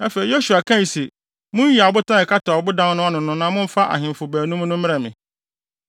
Afei, Yosua kae se, “Munyiyi abotan a ɛkata ɔbodan no ano no na momfa ahemfo baanum no mmrɛ me.”